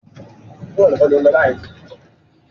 Iru egboogi wo ni dokita fun ọ?